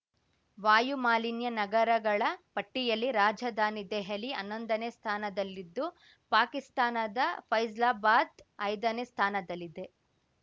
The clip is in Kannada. ವಾಯು ಮಾಲಿನ್ಯ ನಗರಗಳ ಪಟ್ಟಿಯಲ್ಲಿ ರಾಜಧಾನಿ ದೆಹಲಿ ಹನ್ನೊಂದನೇ ಸ್ಥಾನದಲ್ಲಿದ್ದು ಪಾಕಿಸ್ತಾನದ ಫೈಜ್ಲಾಬಾದ್ ಐದನೇ ಸ್ಥಾನದಲ್ಲಿದೆ